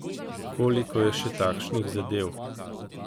Koliko je še takšnih zadev?